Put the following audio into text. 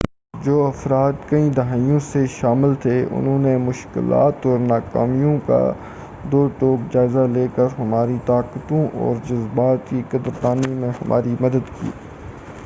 جو افراد کئی دہائیوں سے شامل تھے انھوں نے مشکلات اور ناکامیوں کا دوٹوک جائزہ لے کر ہماری طاقتوں اور جذبات کی قدر دانی میں ہماری مدد کی